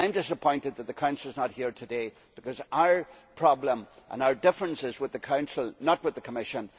I am disappointed that the Council is not here today, because our problem and our difference is with the Council, not with the Commission.